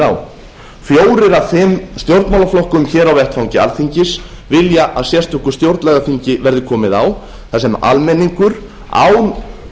á fjórir af fimm stjórnmálaflokkum hér á vettvangi alþingis vilja að sérstöku stjórnlagaþingi verði komið á þar sem almenningur án